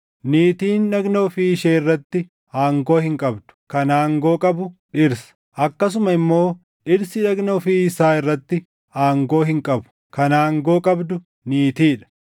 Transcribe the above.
Niitiin dhagna ofii ishee irratti aangoo hin qabdu; kan aangoo qabu dhirsa. Akkasuma immoo dhirsi dhagna ofii isaa irratti aangoo hin qabu; kan aangoo qabdu niitii dha.